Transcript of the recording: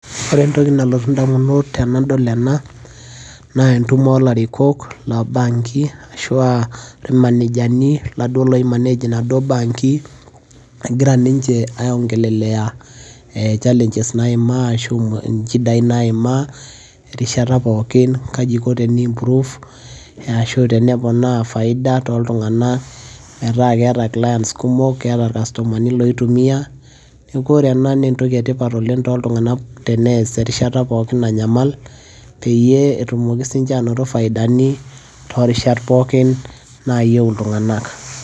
Ore entoki nalotu indamunot tenadol ena naa entumo oolarikok ashu aa ilmanejani iladuoo oi manage inaduoo baanki egira ninche ai ongelelea ee challenges naimaa ashu inchidai naimiaa erishata pookin, kaji iko teni improve arashu teneponaa faida toltung'anak metaa keeta clients kumok keeta ilcustomani kumok oitumiaa. Neeku ore ena naa entoki etipat oleng' toltung'anak tenees erishata pookin nanyamal peyie etumoki ninche aanoto faidani toorishat pookin naayieu iltung'anak.